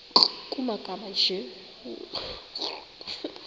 nkr kumagama anje